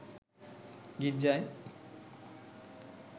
গির্জায়